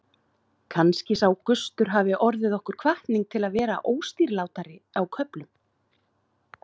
Kannski sá gustur hafi orðið okkur hvatning til að vera óstýrilátir á köflum.